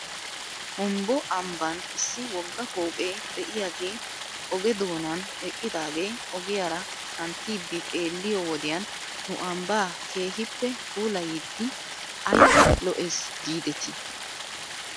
Humbbo ambban issi wogga pooqe de'iyaagee oge doonan eqqiyaagee ogiyaara kantiidi xeelliyoo wodiyan nu ambbaa keehippe puulayidi ayba lo'es giidetii?